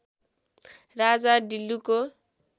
राजा ढिल्लुको